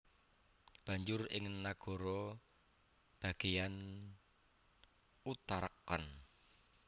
Banjur ing nagara bagéyan Uttarakhand